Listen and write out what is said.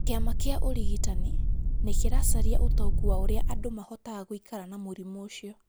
Kĩama kĩa ũrigitani nĩ kĩracaria ũtaũku wa ũrĩa andũ mahotaga gũikara na mũrimũ ũcio.